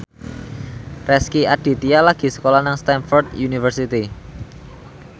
Rezky Aditya lagi sekolah nang Stamford University